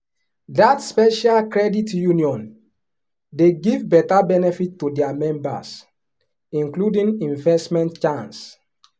that special credit union dey give better benefit to their members including investment chance.